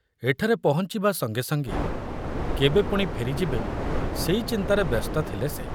ଏଠାରେ ପହଞ୍ଚିବା ସଙ୍ଗେ ସଙ୍ଗେ କେବେ ପୁଣି ଫେରିଯିବେ ସେଇ ଚିନ୍ତାରେ ବ୍ୟସ୍ତ ଥିଲେ ସେ।